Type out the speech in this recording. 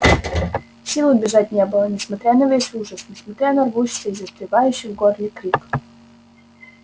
сил убежать не было несмотря на весь ужас несмотря на рвущийся и застревающий в горле крик